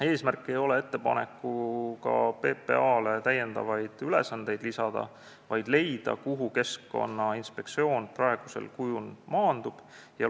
Eesmärk ei ole ettepanekuga PPA-le ülesandeid lisada, vaid leida, kuhu Keskkonnainspektsioon praegusel kujul maanduma peaks.